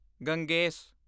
Ganges